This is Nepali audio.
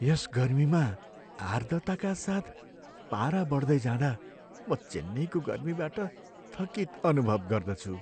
यस गर्मीमा आर्द्रताका साथ पारा बढ्दै जाँदा म चेन्नईको गर्मीबाट थकित अनुभव गर्दछु।